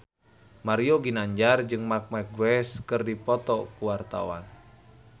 Mario Ginanjar jeung Marc Marquez keur dipoto ku wartawan